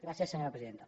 gràcies senyora presidenta